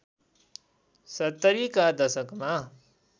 ७० का दशकमा